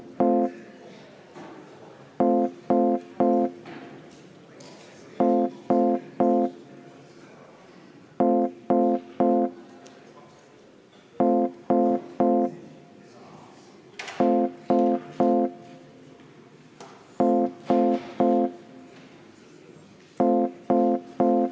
Hääletustulemused Ettepaneku poolt hääletas 42 ja vastu 33 Riigikogu liiget.